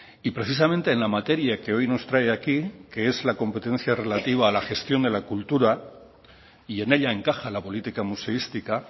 y precisamente en la materia que hoy nos trae aquí que es la competencia relativa a la gestión de la cultura y en ella encaja la política museística